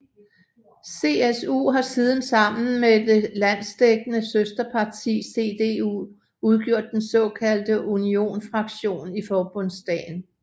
CSU har siden sammen med det landsdækkende søsterparti CDU udgjort den såkaldte unionsfraktion i Forbundsdagen